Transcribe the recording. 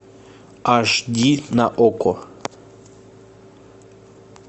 аш ди на окко